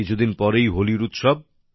কিছুদিন পরই হোলির উৎসব